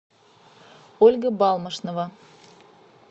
ольга балмошнова